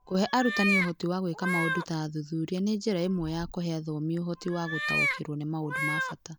Kũhe arutani ũhoti wa gwĩka maũndũ ta athuthuria nĩ njĩra ĩmwe ya kũhe athomi ũhoti wa gũtaũkĩrũo nĩ maũndũ ma bata.